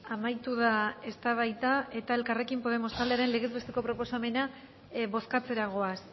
amaitu da eztabaida eta elkarrekin podemos taldearen legez besteko proposamena bozkatzera goaz